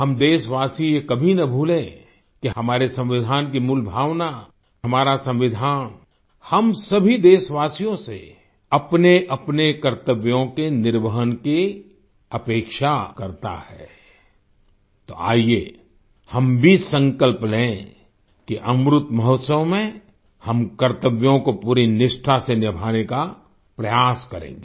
हम देशवासी ये कभी न भूलें कि हमारे संविधान की भी मूल भावना हमारा संविधान हम सभी देशवासियो से अपनेअपने कर्तव्यों के निर्वहन की अपेक्षा करता है तो आइये हम भी संकल्प लें कि अमृत महोत्सव में हम कर्तव्यों को पूरी निष्ठा से निभाने का प्रयास करेंगे